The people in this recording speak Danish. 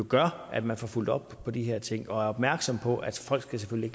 gøre at man får fulgt op på de her ting og er opmærksomme på at folk selvfølgelig